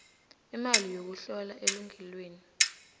imali yokuhlola elungelweni